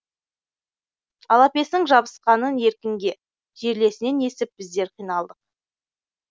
алапестің жабысқанын еркінге жерлесінен естіп біздер қиналдық